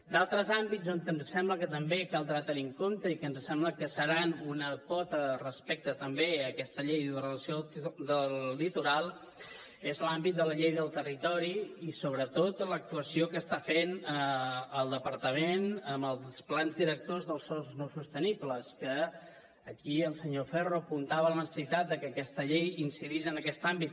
d’altre àmbits que ens sembla que també caldrà tenir en compte i que ens sembla que seran una pota respecte també a aquesta llei d’ordenació del litoral és l’àmbit de la llei de territori i sobretot l’actuació que està fent el departament amb els plans directors dels sòls no sostenibles que aquí el senyor ferro apuntava la necessitat de que aquesta llei incidís en aquest àmbit